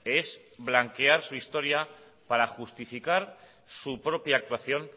es blanquear su historia para justificar su propia actuación